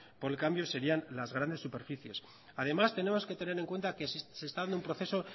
por el cambio serían las grandes superficies además tenemos que tener en cuenta que se está dando un proceso